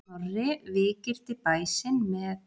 Snorri víggirti bæ sinn með.